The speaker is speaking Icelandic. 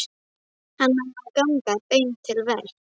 Hann á að ganga beint til verks.